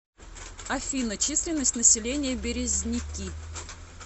афина численность населения березники